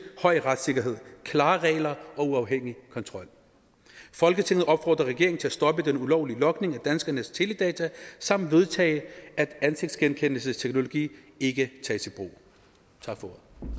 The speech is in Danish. af høj retssikkerhed klare regler og uafhængig kontrol folketinget opfordrer regeringen til at stoppe den ulovlige logning af danskernes teledata samt vedtage at ansigtsgenkendelsesteknologi ikke tages i brug tak for